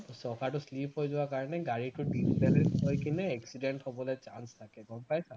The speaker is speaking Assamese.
চকাটো slip হৈ যোৱাৰ কাৰণে গাড়ীটো disbalance হৈ কিনে accident হবলে chance থাকে গম পাইছা